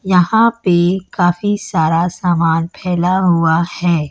यहां पे काफी सारा सामान फैला हुआ है।